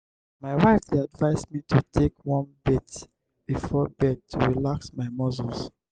my wife dey advise me to take warm bath before bed to relax my muscles.